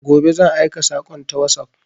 Gobe zan aika sakon ta WhatsApp